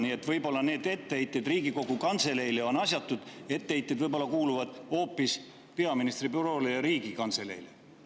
Nii et võib-olla need etteheited Riigikogu Kantseleile on asjatud, etteheited võib-olla kuuluvad hoopis peaministri büroole ja Riigikantseleile.